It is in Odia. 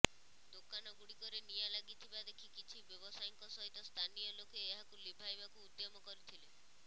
ଦୋକାନ ଗୁଡ଼ିକରେ ନିଆଁ ଲାଗିଥିବା ଦେଖି କିଛି ବ୍ୟବସାୟୀଙ୍କ ସହିତ ସ୍ଥାନୀୟ ଲୋକେ ଏହାକୁ ଲିଭାଇବାକୁ ଉଦ୍ୟମ କରିଥିଲେ